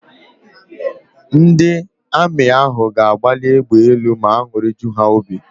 Ndị Amị ahụ ga-agbali égbè elu ma an̄ụrị ju ha óbì.